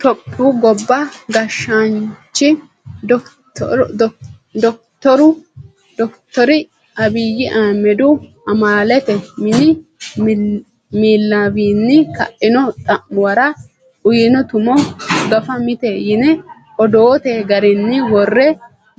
Tophiyu gobba gashshaanchi dokittore Abiyi Ahimedihu amaalete mini miillawinni kaino xa'muwara uyino tumo gafa mite yine odoote garinni wore